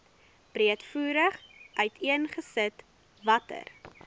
breedvoerig uiteengesit watter